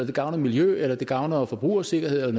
det gavner miljøet eller det gavner forbrugersikkerheden